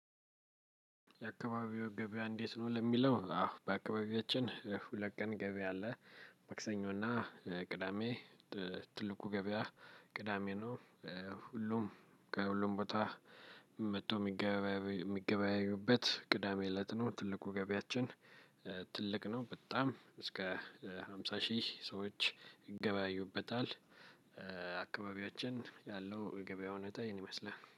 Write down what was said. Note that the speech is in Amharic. የአካባቢው ገበያ እንዴት ነው? ለሚለው አዎ በአካባቢያችን ሁለት ቀን ገበያ አለ መክሰኞና ቅዳሜ ትልቁ ገበያ ቅዳሜ ነው። ሁሉም ከሁሉም ቦታ መጥቶ ሚገበያዩበት ቅዳሜ እለት ነው ትልቁ ገቢያችን ትልቅ ነው በጣም እስከ ሃምሳ ሺህ ሰዎች ይገበያዩበታል ያለው የገበያ ሁኔታ ይህን ይመስላል።